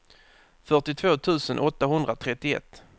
fyrtiotvå tusen åttahundratrettioett